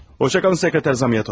Xoşça qalın, Katib Zamiatov.